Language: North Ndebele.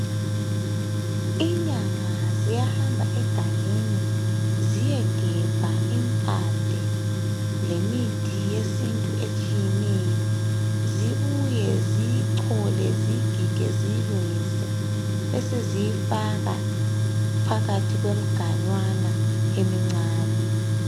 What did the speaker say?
Inyanga ziyahamba egangeni ziyegebha impande lemithi yesintu ehlukeneyo zibuye, ziyicholeziyigige, ziyilungise beseziyifaka phakathi kwemiganyana emincane.